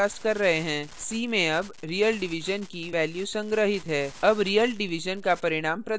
अब real division का परिणाम प्रदर्शित होता है उत्तर 250 है जो अपेक्षित है